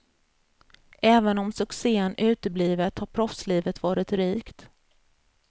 Även om succén uteblivit har proffslivet varit rikt.